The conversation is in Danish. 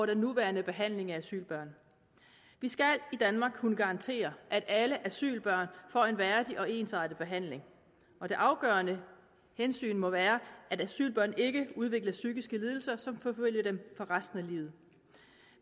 den nuværende behandling af asylbørn vi skal i danmark kunne garantere at alle asylbørn får en værdig og ensartet behandling og det afgørende hensyn må være at asylbørn ikke udvikler psykiske lidelser som forfølger dem resten af livet